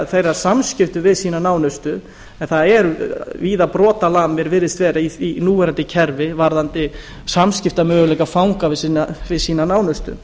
þeirra samskipti við sína nánustu en það eru víða brotalamir virðist vera í því í núverandi kerfi varðandi samskiptamöguleika fanga við sína nánustu